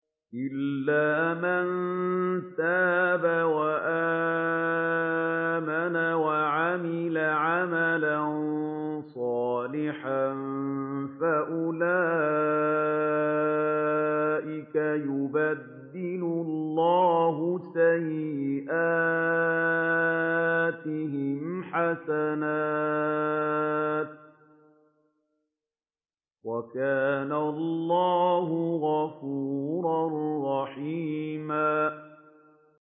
إِلَّا مَن تَابَ وَآمَنَ وَعَمِلَ عَمَلًا صَالِحًا فَأُولَٰئِكَ يُبَدِّلُ اللَّهُ سَيِّئَاتِهِمْ حَسَنَاتٍ ۗ وَكَانَ اللَّهُ غَفُورًا رَّحِيمًا